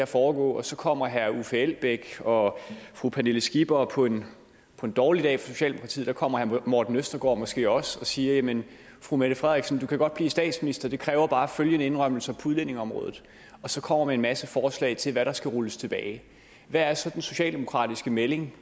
foregå og så kommer herre uffe elbæk og fru pernille skipper og på en dårlig dag for socialdemokratiet kommer herre morten østergaard måske også og siger jamen fru mette frederiksen du kan godt blive statsminister det kræver bare følgende indrømmelser på udlændingeområdet og så kommer de med en masse forslag til hvad der skal rulles tilbage hvad er så den socialdemokratiske melding